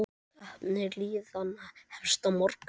Keppni liðanna hefst á morgun.